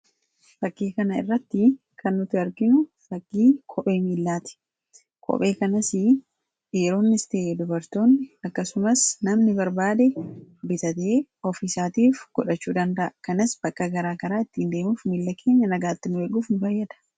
fakkii kana irratti kannuti arkinu fakkii kophee miillaati kophee kanas dhiyeroonn iste dubartoonni akkasumas namni barbaade bitatee ofiisaatiif godhachuu dandaa kanas bakka garaa karaa ittiin deemuuf miilla keenya nagaattin eeguufi fayyada